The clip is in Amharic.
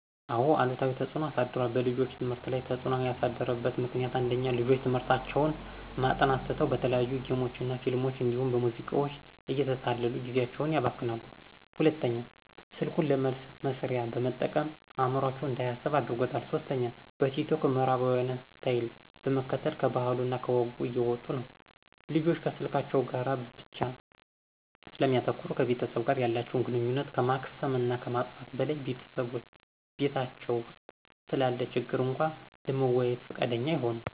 አዎ አሉታዊ ተፅዕኖ አሳድሯል። በልጆች ትምህርት ላይ ተፅዕኖ ያሳደረበት ምክንያት፦ ፩) ልጆች ትምህርታቸውን ማጥናት ትተው በተለያዩ ጌሞች እና ፊልሞች እንዲሁም በሙዚቃዎች እየተታለሉ ጊዜአቸውን ያባክናሉ። ፪) ስልኩን ለመልስ መስሪያ በመጠቀም አዕምሮአቸው እንዳያስብ አድርጓል። ፫) በቲክቶክ የምዕራባውያንን ስታይል በመከተል ከባህሉ እና ከወጉ እየወጡ ነው። ልጆች ከስልካቸው ጋር ብቻ ስለሚያተኩሩ ከቤተሰብ ጋር ያላተቸውን ግንኙነት ከማክሰም እና ከማጥፋት በላይ በቤታቸው ውስጥ ስላለ ችግር እንኳ ለመወያየት ፍቃደኛ አይሆኑም።